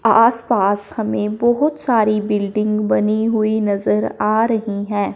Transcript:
आसपास हमें बहुत सारी बिल्डिंग बनी हुई नजर आ रही हैं।